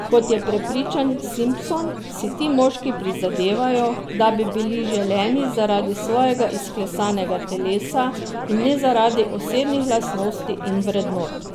Kot je prepričan Simpson, si ti moški prizadevajo, da bi bili zaželeni zaradi svojega izklesanega telesa in ne zaradi osebnih lastnosti in vrednot.